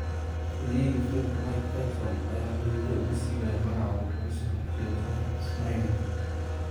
Halyeyga feerka Mike Tyson ayaa xididda u siibaya magaca uu kaga soo horjeedo saaxiibkiis Mareykanka.